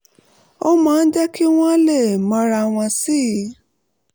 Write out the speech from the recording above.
ó máa ń jẹ́ kí wọ́n lè mọra wọn sí i